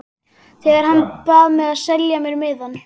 Þegar hann bað mig að selja sér miðann.